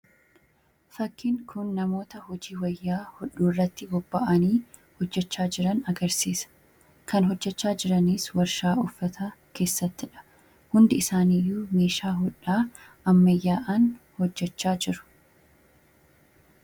Fakiin kun namoota hojii wayyaa hodhuu irratti bobba'anii hojjechaa jiran agarsiisa. Kan hojjechaa jiraniis warshaa uffata keessattidha. Hundi isaani iyyuu meeshaa hodhaa ammayyaan hojjechaa jiru.